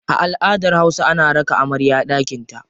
A aladar hausa, ana raka amarya daƙinta.